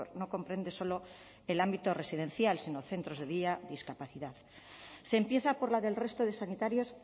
no comprende solo el ámbito residencial sino centros de día discapacidad se empieza por la del resto de sanitarios